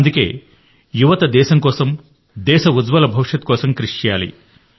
అందుకే యువత దేశం కోసం దేశ ఉజ్వల భవిష్యత్తు కోసం కృషి చేయాలి